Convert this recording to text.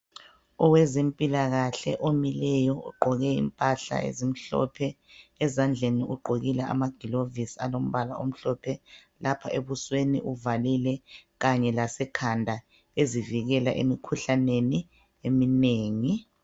Owezempilakahle omileyo ogqoke impahla ezimhlophe. Ezandleni ugqokile amagilovisi alombala omhlophe. Lapha ebusweni uvalile kanye lasekhanda ezivikela emkhuhlaneni eminengi.